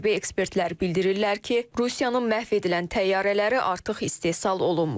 Hərbi ekspertlər bildirirlər ki, Rusiyanın məhv edilən təyyarələri artıq istehsal olunmur.